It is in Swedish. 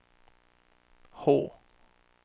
H